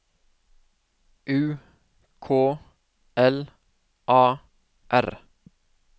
U K L A R